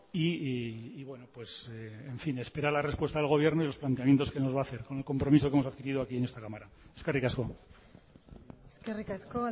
y esperar a la respuesta del gobierno y los planteamientos que nos va a hacer con el compromiso que hemos adquirido aquí en esta cámara eskerrik asko eskerrik asko